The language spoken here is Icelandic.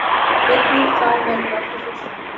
Einnig það verður aldrei fullþakkað.